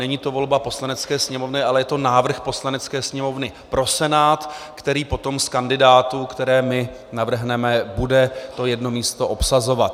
Není to volba Poslanecké sněmovny, ale je to návrh Poslanecké sněmovny pro Senát, který potom z kandidátů, které my navrhneme, bude to jedno místo obsazovat.